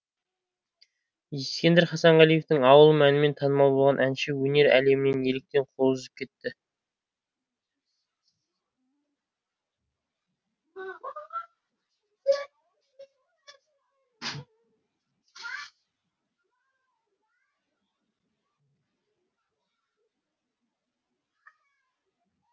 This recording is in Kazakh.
ескендір хасанғалиевтің ауылым әнімен танымал болған әнші өнер әлемінен неліктен қол үзіп кетті